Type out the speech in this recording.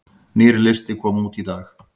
Nýr listi kom út í dag